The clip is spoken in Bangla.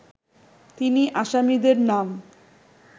তিনি আসামীদের নাম